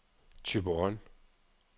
Thyborøn